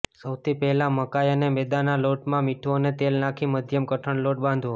સૌથી પહેલા મકાઈ અને મેંદાના લોટમાં મીઠું અને તેલ નાખી મધ્યમ કઠણ લોટ બાંધવો